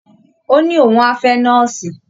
Ó ní òun á fẹ́ nọ́ọ̀sì